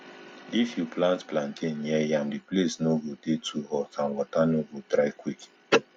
if you plant plantain near yam the place no go dey too hot and water no go dry quick